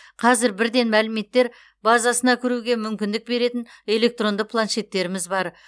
қазір бірден мәліметтер базасына кіруге мүмкіндік беретін электронды планшеттеріміз бар